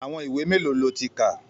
Àwọn ìwé mélòó lo ti kà?